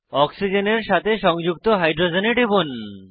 অক্সিজেনের সাথে সংযুক্ত হাইড্রোজেনে টিপুন